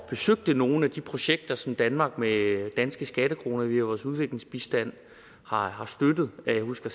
besøgte nogle af de projekter som danmark med danske skattekroner via vores udviklingsbistand har har støttet jeg husker